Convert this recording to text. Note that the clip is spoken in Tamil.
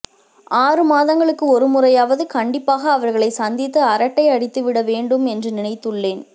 ஆறு மாதங்களுக்கு ஒருமுறையாவது கண்டிப்பாக அவர்களைச் சந்தித்து அரட்டை அடித்துவிட வேண்டும் என்று நினைத்துள்ளேன்